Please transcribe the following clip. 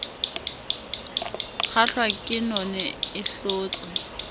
kgahlwa ke none e hlotsa